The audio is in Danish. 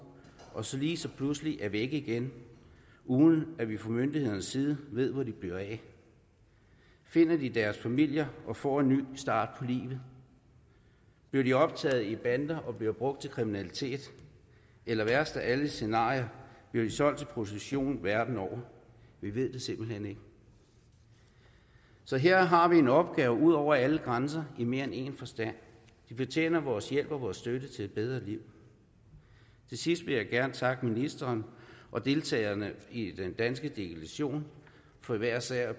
og som så lige pludselig er væk igen uden at vi fra myndighedernes side ved hvor de bliver af finder de deres familier og får en ny start på livet bliver de optaget i bander og bliver brugt til kriminalitet eller værst af alle scenarier bliver de solgt til prostitution verden over vi ved det simpelt hen ikke så her har vi en opgave ud over alle grænser i mere end en forstand de fortjener vores hjælp og vores støtte til et bedre liv til sidst vil jeg gerne takke ministeren og deltagerne i den danske delegation for hver især at